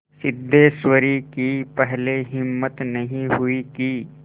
सिद्धेश्वरी की पहले हिम्मत नहीं हुई कि